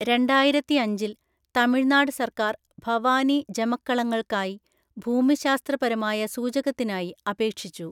രണ്ടായിരത്തിഅഞ്ചില്‍ തമിഴ്‌നാട് സർക്കാർ ഭവാനി ജമക്കളങ്ങൾക്കായി ഭൂമിശാസ്ത്രപരമായ സൂചകത്തിനായി അപേക്ഷിച്ചു.